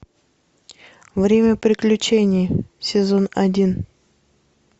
время приключений сезон один